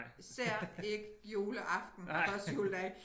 Især ikke juleaften og første juledag